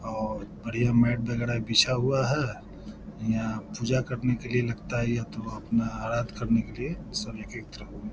और बढ़िया मैट वैगरह बिछा हुआ है यहाँ पूजा करने के लिए लगता है यह तो आराध करने के लिए सब एक-एक तरफ --